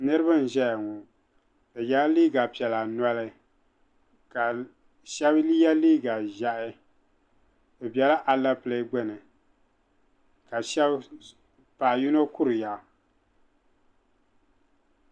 Niriba n-ʒeya ŋɔ bɛ yela liiga piɛla noli ka shɛba ye liiga ʒɛhi bɛ bela alepile gbuni ka paɣa yino kuriya.